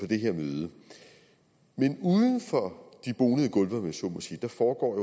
det her møde men uden for de bonede gulve om jeg så må sige foregår